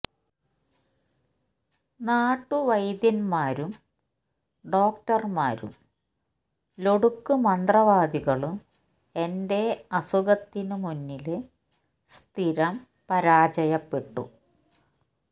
നാട്ടുവൈദ്യന്മാരും ഡോക്ടര്മാരും ലൊടുക്കു മന്ത്രവാദികളും എന്റെ അസുഖത്തിനു മുന്നില് സ്ഥിരം പരാജയപ്പെട്ടു